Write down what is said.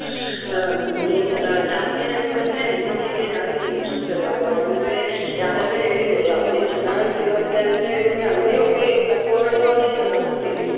ಹ್ಮ್ ಅಹ್ ಜಾಸ್ತಿ ಹೇಳ್ಬೇಕಂದ್ರೆ ಹೆಣ್ಮಕ್ಳಿಗೆ ಜಾಸ್ತಿ interest ಇರುದು ಅಂದ್ರೆ ಯಾರಾದ್ರೂ ಹೇಳಿದ್ರೆ ಅಲ್ಲಿ ಚೆನ್ನಾಗೆ ಸಿಗುತ್ತೆ ಅಂತ ಹೇಳಿದ್ರೆ ಅಲ್ಲೇ ಹೋಗಿ ತಕೊಳ್ಳುವವರೇ ಜಾಸ್ತಿ .